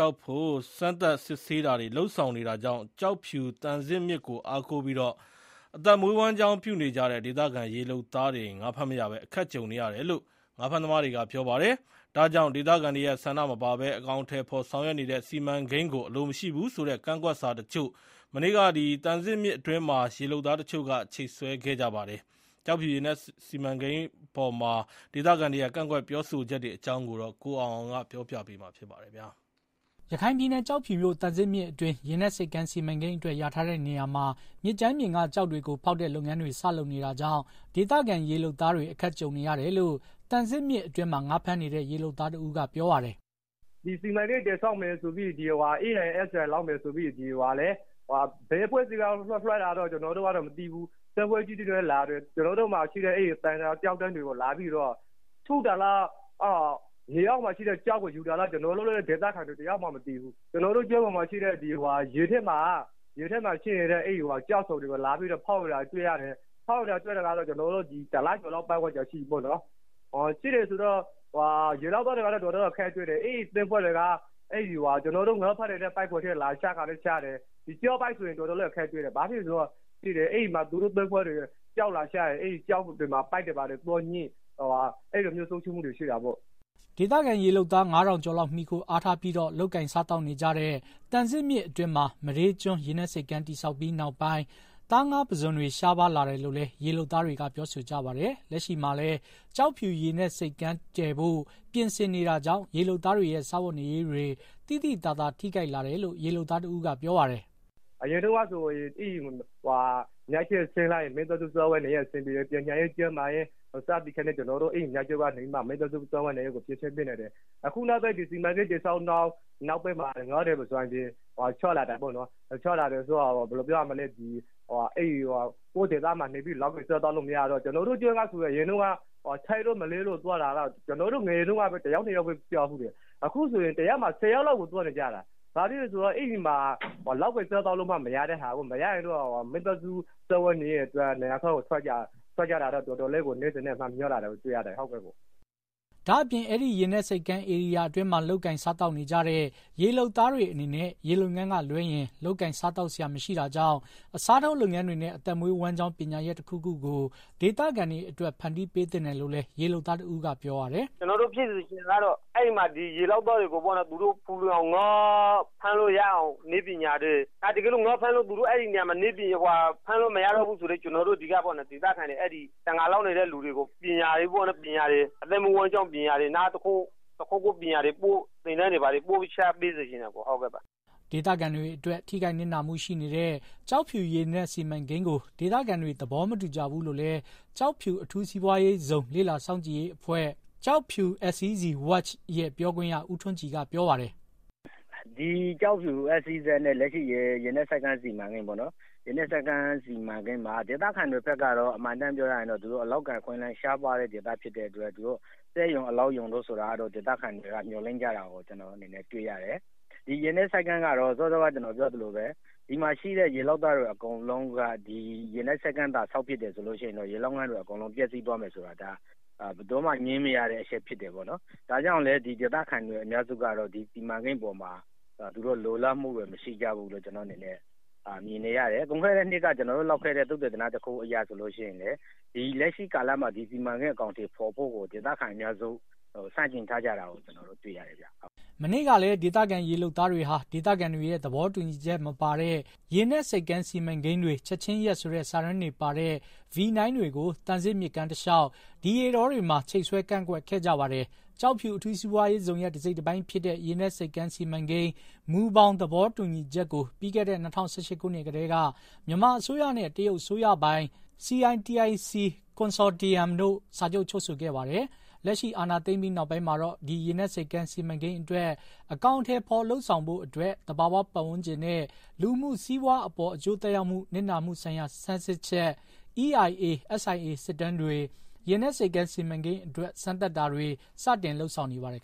ောက်ဖို့ စမ်းသပ်စစ်ဆေးတာနေတာကြောင့် ကျောက်ဖြူ သံဇစ်မြစ်ကို အားကိုးပြီး အသက်မွေးဝမ်းကြောင်းနေကြတဲ့ ဒေသခံရေလုပ်သားတွေ ငါးဖမ်းမရဘဲ အခက်ကြုံနေရတယ်လို့ ရေလုပ်သားတွေက ပြောပါတယ်။ ဒါကြောင့် ဒေသခံတွေရဲ့ဆန္ဒမပါပဲ အကောင်အထည်ဖော်ဆောင်ရွက်နေတဲ့ စီမံကိန်းကို အလိုမရှိဘူးဆိုတဲ့ ကန့်ကွက်စာတချို့ မနေ့က သံဇစ်မြစ်အတွင်းမှာ ရေလုပ်သားတချို့က ချိတ်ဆွဲခဲ့ကြပါတယ်။ ကျောက်ဖြူ ရေနက်စီမံကိန်းအပေါ် ဒေသခံတွေရဲ့ ကန့်ကွက်ပြောဆိုချက်တွေအကြောင်း ကိုအောင်အောင်က တင်ပြပေးထားပါတယ်။ ရခိုင်ပြည်နယ် ကျောက်ဖြူမြို့ သံဇစ်မြစ်အတွင်း ရေနက်ဆိပ်ကမ်း စီမံကိန်းအတွက် လျာထားတဲ့နေရာမှာ မြစ်ကြမ်းပြင်က ကျောက်တွေကိုဖေါက်တဲ့လုပ်ငန်းတွေ စလုပ်နေတာကြောင့် ဒေသခံ ရေလုပ်သားတွေ အခက်ကြုံနေရတယ် လို့ သံဇစ်မြစ်အတွင်းမှာ ငါးဖမ်းနေတဲ့ ရေလုပ်သားတဦးကပြောပါတယ်။ “ စီမံကိန်းတည်ဆောက်မယ်ဆိုပြီး၊ EIA SIA လုပ်မယ်ဆိုပြီး ဘယ်အဖွဲ့ကလွှတ်တာလဲတော့ ကျနော်တို့လည်းမသိဘူး။ သင်္ဘောကြီးတွေနဲ့လာပြီးတော့ ကျနော်တို့ မြစ်မှာရှိတဲ့ ကျောက်တန်းတွေကို ထုတာလား၊ ရေအောက်မှာ ရှိတဲ့ ကျောက်ကို ယူတာလား ကျနော်တို့လည်းမသိဘူး။ ရေအောက်မှာရှိတဲ့ ကျောက်ဆောင်တွေကို ဖောက်နေတာတော့ တလကျော် လောက်ရှိပြီ။ အဲလိုလုပ်နေတော့ ရေလုပ်သားတွေ အတော်အခက်တွေ့တယ်။ အဲဒီသင်္ဘောတွေက ကျနော်တို့ ငါးဖမ်းနေတဲ့ပိုက်တွေထဲ လာတဲ့အခါလည်းလာတယ်။ ကျားပိုက်ဆိုရင် တော်တော်အခက်တွေ့ တယ်၊ သူတို့ ချထားတံ ကျောက်တွေမှာ ပိုက်တွေငြိလို့ပျက်စီးဆုံးရှုံးတာလည်းရှိတယ်။” ဒေသခံရေလုပ်သား ငါးထောင်ကျော်လောက် မှီခိုအားထားပြီးတော့ လုပ်ကိုင်စားသောက်နေကြတဲ့ သံဇစ်မြစ်အတွင်းမှာ မဒေးကျွန်း ရေနက်ဆိပ်ကမ်းတည်ဆောက်ပြီး နောက်ပိုင်း သားငါးပုစွန်တွေ ရှားပါးလာတယ်လို့လည်း ရေလုပ်သားတွေက ပြောဆိုကြပါတယ်။ လက်ရှိမှာလည်း ကျောက်ဖြူရေနက်ဆိပ်ကမ်းတည်ဖို့ ပြင်ဆင်နေတာကြောင့် ရေလုပ်သားတွေရဲ့ စားဝတ်နေရေးတွေ သိသိသာသာထိခိုက်လာတယ်လို့ ရေလုပ်သားတဦးကပြောပါတယ်။ “ အရင်တုန်းကဆိုရင် အဲဒီမြစ်ထဲကိုဆင်းလိုက်ရင် မိသားစု စားဝတ်နေရေး အဆင်ပြေတယ်။ ပညာရေး၊ ကျန်းမာရေး ကျနော်တို့ မိသားစားဝတ်နေရေးကို အဲဒီမြစ်က ဖြေရှင်းပေးနိုင်တယ်။ အခုနောက်ပိုင် ဒီစံမံကိန်းတွေ ပေါ်လာပြီးနောက်ပိုင်းမှာ ငါးတွေ၊ ပုဇွန်တွေ ရှားလာတာပေါ့နော်။ ကိုယ့်ဒေသမှာနေပြီး လုပ်ကိုင်စားသောက်လို့မရတော့ ကျနော်တို့ကျွန်းကဆိုရင် အရင်က ထိုင်းတို့မလေးတို့ကို သွားတာ။ တယောက်နှစ်ယောက်လောက်ပဲ ရှိတယ်။ အခုဆိုရင် တရက်မှာ ၁၀ ယောက်လောက်ကို သွားနေကြတာ။ မိသားစုစားဝတ်နေရေးအတွက် နိုင်ငံခြားကို ထွက်သွားကြသူတွေ တနေ့ထက် တနေ့ များလာတာပေါ့။” ဒါ့အပြင် အဲဒီရေနက်ဆိပ်ကမ်းဧရိယာအတွင်းမှာ လုပ်ကိုင်စားသောက်နေကြတဲ့ ရေလုပ်သားတွေအနေနဲ့ ရေလုပ်ငန်းကလွဲရင် လုပ်ကိုင်စားသောက်စရာမရှိတာကြောင့် အစားထိုးလုပ်ငန်းတွေနဲ့ အသက်မွေးဝမ်းကြောင်း ပညာရပ်တခုခုကို ဒေသခံတွေအတွက် ဖန်တီးပေးသင့်တယ်လို့လည်း ရေလုပ်သားတဦးကပြောပါတယ်။ “ကျနော်တို့ ဖြစ်စေချင်တာကတော့ အဲဒီမှာရှိတဲ့ ရေလုပ်သားတွေကို ငါးဖမ်းလို့ရအောင် နည်းပညာတွေပေးစေချင်တယ်။ တကယ်လို့ အဲဒီနေရာမှာ ငါးဖမ်းလို့လုံးဝမရတော့ဘူးဆိုရင် ဒီက တံငါလုပ်နေတဲ့ ဒေသခံတွေကို အသက်မွေးဝမ်းကြောင်းပညာ- တခုခု သင်တန်းတွေ ဘာတွေ ပို့ချပေးစေချင်ပါတယ်။” ဒေသခံတွေအတွက် ထိခိုက်နစ်နာမှုတွေရှိနေတဲ့ ကျောက်ဖြူရေနက်စီမံကိန်းကို ဒေသခံတွေ သဘောမတူကြဘူးလို့လည်း ကျောက်ဖြူအထူးစီးပွားရေးဇုန်လေ့လာစောင့်ကြည့်ရေးအဖွဲ့ Kyaukphyu SEZ Watch ရဲ့ ပြောခွင့်ရ ဦးထွန်းကြည်က ပြောပါတယ်။ “ ကျောက်ဖြူ SEZ နဲ့ ရေနက်ဆိပ်ကမ်းစီမံကိန်းမှာ ဒေသခံတွေဘက်ကတော့ အမှန်အတိုင်းပြောရင်တော့ အလုပ်အကိုင် အခွင့်အလမ်းရှားပါးတဲ့ဒေသဖြစ်တဲ့အတွက် အလုပ်ရုံ စက်ရုံတွေကို ဒေသခံတွေက မျှော်လင့်ကြတာကို တွေ့ရတယ်။ ရေနက်ဆိပ်ကမ်းကတော့ စောစောက ကျနော်ပြောသလိုပဲ- ရေနက်ဆိပ်ကမ်းသာဆောက်ဖြစ်ရင် ရေလုပ်ငန်းတွေ အကုန်လုံး ပျက်စီးသွားမယ်ဆိုတာ ငြင်းမရတဲ့ အချက်ဖြစ်တယ်။ ဒါကြောင့် ဒေသခံ အများစုတော့ ဒီစီမံကိန်းပေါ်မှာ လိုလားမှုမရှိကြဘူး။ ပြီးခဲ့တဲ့နှစ်က ကျနော်တို့လုပ်ခဲ့တဲ့သုတသနတခုအရဆိုရင် လက်ရှိကာလမှာ ဒီစီမံကိန်းအကောင်အထည်ဖော်ဖို့ကို ဒေသခံအများစု ဆန့်ကျင်ထားကြတာကို ကျနော်တို့ တွေ့ရတယ်ဗျာ။” မနေ့ကလည်း ဒေသခံရေလုပ်သားတွေဟာ ဒေသခံတွေရဲ့သဘောတူညီချက်မပါတဲ့ ရေနက်ဆိပ်ကမ်းစီမံကိန်းတွေ ချက်ချင်းရပ်ဆိုတဲ့ စာတန်းတွေပါတဲ့ ဗွီနိုင်းတွေကို သံဇစ်မြစ်ကမ်းတလျှောက် ဒီရေတောတွေမှာ ချိတ်ဆွဲ ကန့်ကွက်ခဲ့ကြပါတယ်။ ကျောက်ဖြူအထူးစီးပွားရေးဇုန်ရဲ့ တစိတ်တပိုင်းဖြစ်တဲ့ ရေနက်ဆိပ်ကမ်းစီမံကိန်း မူဘောင် သဘောတူညီချက်ကို ပြီးခဲတဲ့ ၂၀၁၈ ခုနှစ်ကတည်းက မြန်မာအစိုးရနဲ့ တရုတ်အစိုးရပိုင် CITIC Consortium တို့ စာချုပ်ချုပ်ဆိုခဲ့ပါတယ်။ လက်ရှိအာဏာသိမ်းပြီးနောက်ပိုင်းမှာတော့ ဒီရေနက်ဆိပ်ကမ်းစီမံကိန်းအတွက် အကောင်အထည်ဖော်လုပ်ဆောင်ဖို့ သဘာဝပတ်ဝန်းကျင်နဲ့ လူမှုစီးပွားအပေါ် အကျိုးသက်ရောက်မှု၊ နစ်နာမှုဆိုင်ရာဆန်းစစ်ချက် EIA ၊ SIA စစ်တမ်းတွေ ရေနက်ဆိပ်ကမ်းစီမံကိန်းအတွက် စမ်းသပ်တာတွေ စတင်လုပ်ဆောင်နေပါတယ်